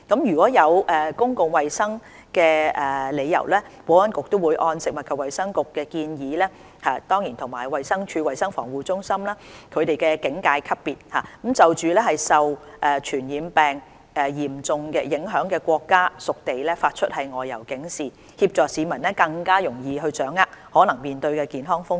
若有公共衞生理由，保安局會按食物及衞生局建議及衞生署衞生防護中心的警戒級別，就受傳染病嚴重影響的國家/屬地發出外遊警示，以協助市民更容易掌握可能面對的健康風險。